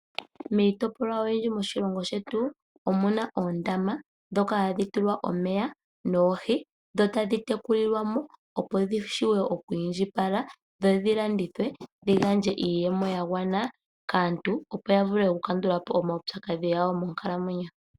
Miitopolwa oyindji moshilongo shetu omuna oondama dhoka hadhi tulwa omeya noohi, dho tadhi tekulilwamo opo dhi vule okwiindjipala dho dhi landithwe dhi gandje iiyemo yagwana kaantu, opo ya vule okukandulapo omaupyakadhi monkalamwenyo dhawo.